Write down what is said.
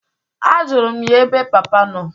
Ajulu m ya ebe papa nọ.